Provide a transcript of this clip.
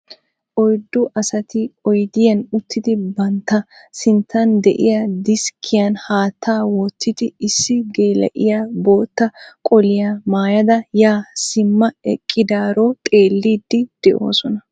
Oyddu asati oyidiyan uttidi bantta sinttan diya deskkiyan haattaa wottidi issi geela'iya bootta qoliya mayada yaa simma eqqidaarao xeelliidi de'oosona.